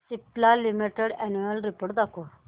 Cipla limited annual report दाखव